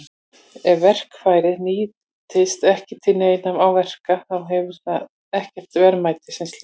Ef verkfærið nýtist ekki til neinna verka þá hefur það ekkert verðmæti sem slíkt.